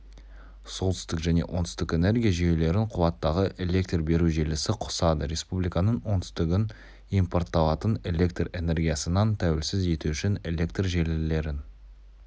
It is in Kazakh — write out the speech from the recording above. солтүстік және оңтүстік энергия жүйелерін қуаттағы электр беру желісі қосады республиканың оңтүстігін импортталатын электр энергиясынан тәуелсіз ету үшін электр желілерін